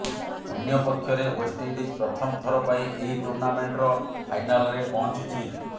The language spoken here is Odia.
ଅନ୍ୟପକ୍ଷରେ ୱେଷ୍ଟଇଣ୍ଡିଜ୍ ପ୍ରଥମ ଥର ପାଇଁ ଏହି ଟୁର୍ଣ୍ଣାମେଣ୍ଟର ଫାଇନାଲ୍ରେ ପହଞ୍ଚିଛି